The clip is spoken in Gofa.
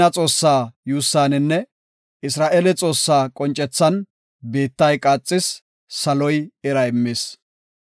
Siina Xoossaa yuussaninne, Isra7eele Xoossaa qoncethan biittay qaaxis; saloy ira immis.